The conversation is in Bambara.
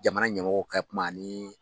Jamana ɲɛmɔgɔw ka kuma ani